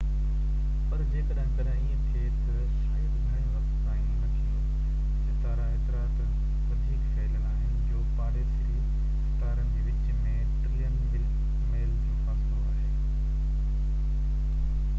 پر جيڪڏهن ڪڏهن ايئن ٿئي ته شايد گهڻي وقت تائين نه ٿيندو ستارا ايترا ته وڌيڪ ڦهليل آهن جو پاڙيسري ستارن جي وچ ۾ ٽريلين ميل جو فاصلو آهي